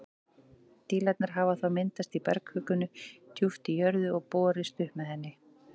Dílarnir hafa þá myndast í bergkvikunni djúpt í jörðu og borist upp með henni.